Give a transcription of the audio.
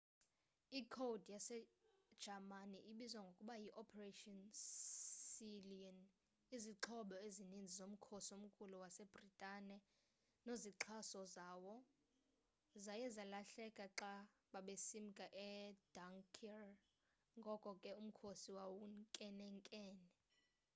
i code yase-jamani ebizwa ngokuba yi operation sealion”.izixhobo ezinintsi zomkhosi omkhulu wase britane nozixhaso zawo zaye zalahleka xa babesimka e-dunkirk ngoko ke umkhosi wawunkenenkene